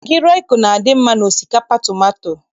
Magị rọịko na-adị mma n'osikapa tomato.